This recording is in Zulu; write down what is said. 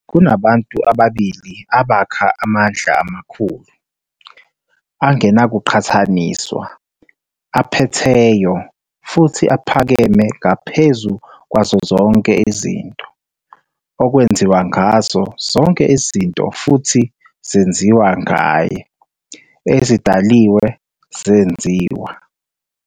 Kunabantu ababili abakha amandla amakhulu, angenakuqhathaniswa, aphetheyo, futhi aphakeme ngaphezu kwazo zonke izinto, okwenziwa ngazo zonke izinto futhi zenziwa ngaye, ezidaliwe zenziwa.